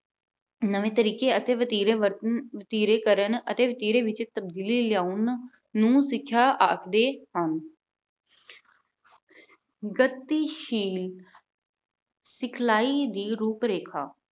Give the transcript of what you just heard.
ਨਵੇਂ ਤਰੀਕੇ ਅਤੇ ਵਤੀਰੇ ਵਰਤ ਅਮ ਵਤੀਰੇ ਕਰਨ ਅਤੇ ਵਤੀਰੇ ਵਿੱਚ ਤਬਦੀਲੀ ਲਿਆਉਣ ਨੂੰ ਸਿੱਖਿਆ ਆਖਦੇ ਹਨ। ਗਤੀਸ਼ੀਲ ਸਿਖਲਾਈ ਦੀ ਰੂਪ-ਰੇਖਾ